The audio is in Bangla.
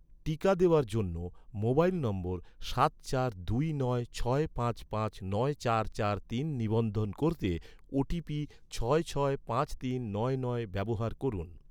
টিকা দেওয়ার জন্য, মোবাইল নম্বর সাত চার দুই নয় ছয় পাঁচ পাঁচ নয় চার চার তিন নিবন্ধন করতে, ওটিপি ছয় ছয় পাঁচ তিন নয় নয় ব্যবহার করুন